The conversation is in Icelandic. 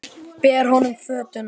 Ber honum fötuna.